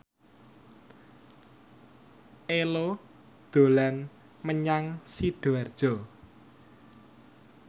Ello dolan menyang Sidoarjo